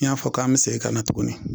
I y'a fɔ k'an bi segin ka na tuguni